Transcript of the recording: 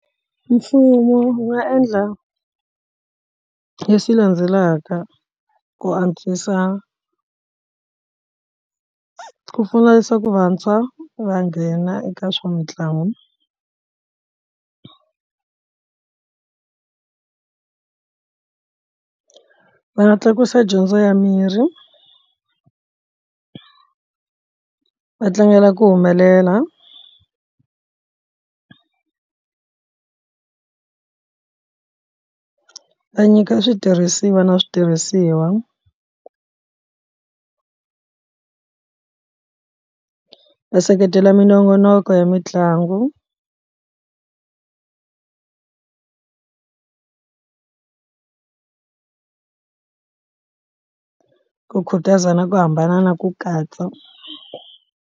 Mfumo wu nga endla leswi landzelaka ku antswisa ku pfunisa ku vantshwa va nghena eka swa mitlangu or va nga tlakusa dyondzo ya mirhi va tlangela ku humelela a nyika switirhisiwa na switirhisiwa va seketela minongonoko ya mitlangu u khutaza na ku hambana na ku katsa.